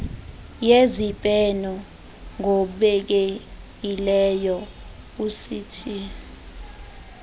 yezibheno ngobekekileyo uct